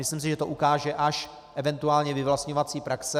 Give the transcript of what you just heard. Myslím si, že to ukáže až eventuální vyvlastňovací praxe.